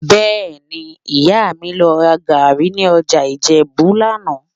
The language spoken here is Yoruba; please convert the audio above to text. Bẹ́ẹ̀ni, Ìyá mi lọ ra gàárì ní ọjà Ìjẹ̀bú lánàá